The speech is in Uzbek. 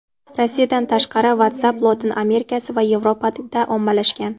Rossiyadan tashqari WhatsApp Lotin Amerikasi va Yevropada ommalashgan.